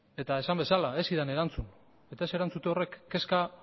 eta esan bezala ez zidan erantzun eta ez erantzute horrek kezka